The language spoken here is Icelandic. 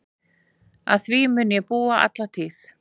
Að því mun ég búa alla tíð.